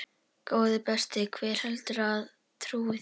Góði besti, hver heldurðu að trúi þér?